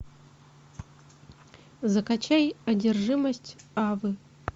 закачай одержимость авы